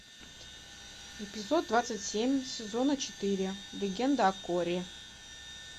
эпизод двадцать семь сезона четыре легенда о корре